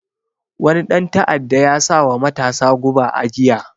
Wani ɗan ta'adda ya sawa matasa guba a giya